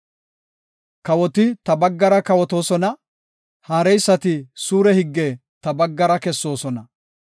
Kawoti ta baggara kawotoosona; haareysati suure higge ta baggara kessoosona.